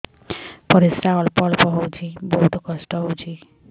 ପରିଶ୍ରା ଅଳ୍ପ ଅଳ୍ପ ହଉଚି ବହୁତ କଷ୍ଟ ହଉଚି